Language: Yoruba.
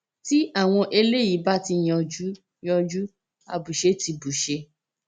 tí àwọn eléyìí bá ti yanjú yanjú àbùṣe ti bùṣe